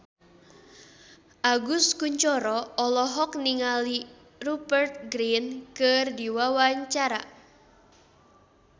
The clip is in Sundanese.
Agus Kuncoro olohok ningali Rupert Grin keur diwawancara